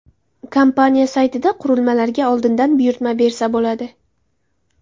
Kompaniya saytida qurilmalarga oldindan buyurtma bersa bo‘ladi.